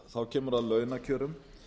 þá kemur að launakjörum